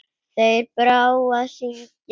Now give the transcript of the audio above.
Þeir þrá að syndga.